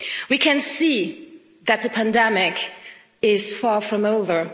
We can see that the pandemic is far from over.